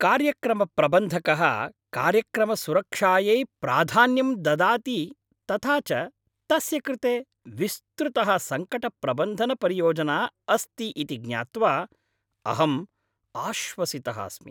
कार्यक्रमप्रबन्धकः कार्यक्रमसुरक्षायै प्राधान्यं ददाति तथा च तस्य कृते विस्तृतः सङ्कटप्रबन्धनपरियोजना अस्ति इति ज्ञात्वा अहम् आश्वसितः अस्मि।